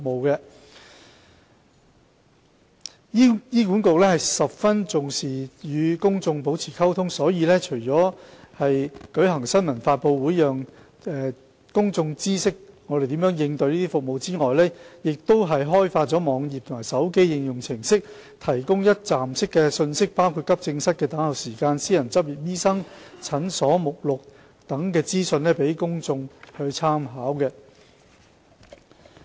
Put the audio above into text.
醫管局十分重視與公眾保持溝通，所以除舉行新聞發布會讓公眾知悉醫管局如何應付這些服務需求外，更開發了網頁和手機應用程式，提供一站式信息，包括急症室等候時間、私人執業醫生診所目錄等資訊予公眾參考。